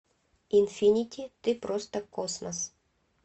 инфинити ты просто космос